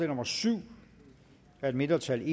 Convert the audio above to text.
nummer syv af et mindretal